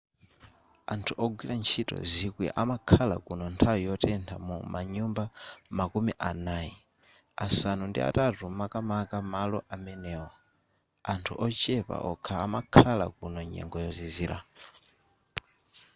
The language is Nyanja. anthu ogwira ntchito zikwi amakhala kuno nthawi yotentha mu manyumba makumi anayi asanu ndi atatu makamaka malo amenewo anthu ochepa okha amakhala kuno nyengo yozizira